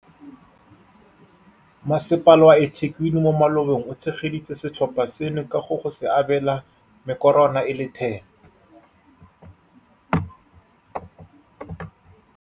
Masepala wa eThekwini mo malobeng o tshegeditse setlhopha seno ka go go se abela mekorwana e le 10.